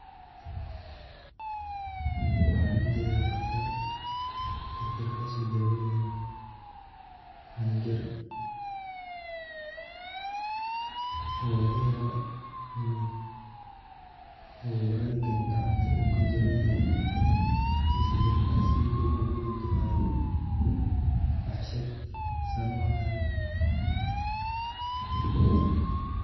Waxan ujeda daqtar, daqtarkasdo daweynayo cunug yar oo lagayawo iniii uu jawan yahay mise jabkas uu ugu dudubi hayo fashad an aniga uuaqano.